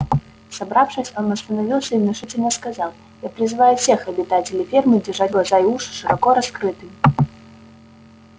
собравшись он остановился и внушительно сказал я призываю всех обитателей фермы держать глаза и уши широко раскрытыми